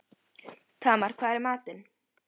Tamar, hvað er í matinn?